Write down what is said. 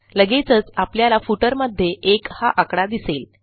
लगेचच आपल्याला फुटर मध्ये 1 हा आकडा दिसेल